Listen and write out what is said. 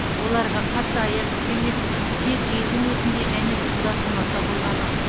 оларға қатты аяз түк емес тек желдің өтінде және суда тұрмаса болғаны